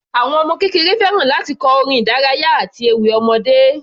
Àwọn ọmọ kékeré fẹ́ràn láti kọ orin ìdárayá àti ewì ọmọdé.